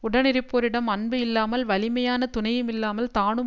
உடனிருப்போரிடம் அன்பு இல்லாமல் வலிமையான துணையுமில்லாமல் தானும்